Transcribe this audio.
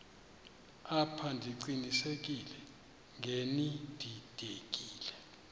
apha ndiqinisekile ngenididekile